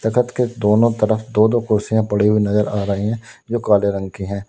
तख्त के दोनों तरफ दो-दो कुर्सियां पड़ी हुई नजर आ रही हैं जो काले रंग की हैं।